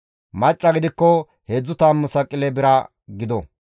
Macca gidikko heedzdzu tammu saqile bira gido;